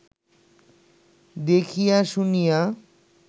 দেখিয়া শুনিয়া